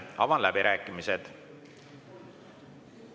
Avan läbirääkimised.